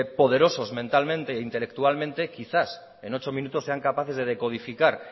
poderosos mentalmente e intelectualmente quizás en ocho minutos sean capaces de decodificar